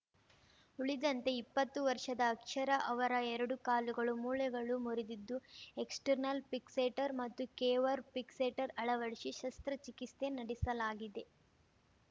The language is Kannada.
ಉಳಿದಂತೆ ಇಪ್ಪತ್ತು ವರ್ಷದ ಅಕ್ಷರ ಅವರ ಎರಡೂ ಕಾಲುಗಳು ಮೂಳೆಗಳು ಮುರಿದಿದ್ದು ಎಕ್ಸ್‌ಟರ್ನಲ್‌ ಫಿಕ್ಸೇಟರ್‌ ಮತ್ತು ಕೆವರ್‌ ಫಿಕ್ಸೇಟರ್‌ ಅಳವಡಿಸಿ ಶಸ್ತ್ರಚಿಕಿತ್ಸೆ ನಡೆಸಲಾಗಿದೆ